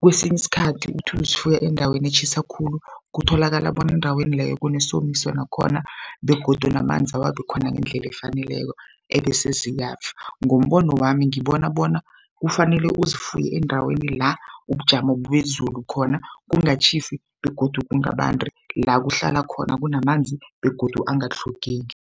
kwesinye isikhathi uthi uzifuya endaweni etjhisa khulu kutholakala bona endaweni leyo kunesomiso nakhona begodu namanzi awabikhona ngendlela efaneleko ebese ziyafa. Ngombono wami ngibona bona kufanele uzifuye endaweni la ubujamo bezulu khona kungatjhisa begodu kungabandi la kuhlala khona kunamanzi begodu angatlhogeki.